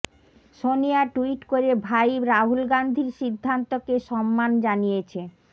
Sonia tweet করে ভাই রাহুল গান্ধীর সিদ্ধান্তকে সম্মান জানিয়েছে